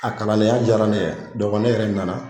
A kalandenya diyara ne ye ne yɛrɛ nana